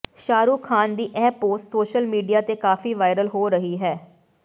ਸ਼ਾਹਰੁਖ ਖਾਨ ਦੀ ਇਹ post social media ਤੇ ਕਾਫੀ ਵਾਇਰਲ ਹੋ ਰਹੀ ਹੈ